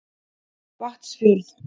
Vatnsfjörð